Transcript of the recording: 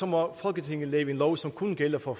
må folketinget lave en lov som kun gælder for